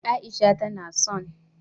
Aisha tana son